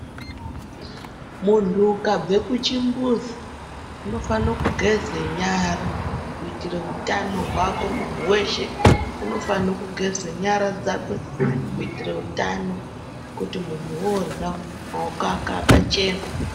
Muntu ukabve kuchimbuzi, unofane kugeze nyara ,kuitire utano hwako. Munhu weshe unofane kugeze nyara dzakwe ,kuitire utano ,kuti munhu woorya, maoko ake akachena.